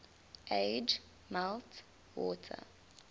age melt water